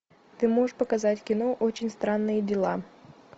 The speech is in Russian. ты можешь показать кино очень странные дела